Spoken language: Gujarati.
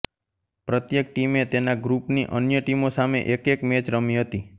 પ્રત્યેક ટીમે તેના ગ્રૂપની અન્ય ટીમો સામે એક એક મેચ રમી હતી